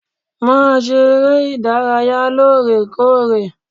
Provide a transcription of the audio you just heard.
Màá ṣe eré ìdárayá lóòrèkóòrè.